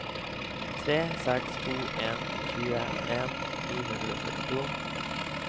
tre seks to en tjueen ni hundre og syttito